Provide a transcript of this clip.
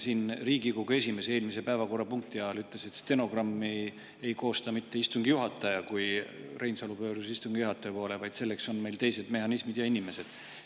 Siin Riigikogu esimees eelmise päevakorrapunkti ajal, kui Reinsalu pöördus istungi juhataja poole, ütles, et stenogrammi ei koosta mitte istungi juhataja, vaid selleks on meil teised mehhanismid ja inimesed.